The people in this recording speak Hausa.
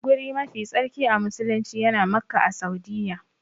Guri mafi tsarki a musulumci yana Makka a Saudiyya.